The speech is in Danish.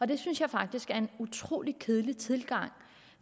det synes jeg faktisk er en utrolig kedelig tilgang